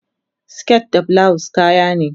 siket da bulawus kayane